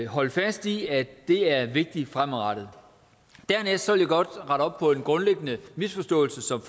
holde fast i at det er vigtigt fremadrettet dernæst vil jeg godt rette op på en grundlæggende misforståelse som